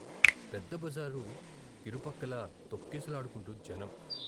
పెద్ద బజారు కిరుపక్కలా తొక్కిసలాడుకుంటూ జనం.